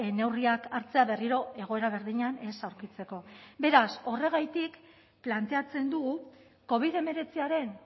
neurriak hartzea berriro egoera berdinean ez aurkitzeko beraz horregatik planteatzen dugu covid hemeretziaren